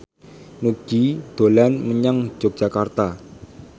Nugie dolan menyang Yogyakarta